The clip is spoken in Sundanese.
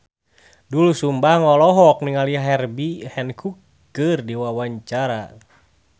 Doel Sumbang olohok ningali Herbie Hancock keur diwawancara